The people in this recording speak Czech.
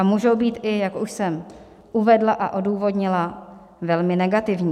A můžou být, jak už jsem uvedla a odůvodnila, i velmi negativní.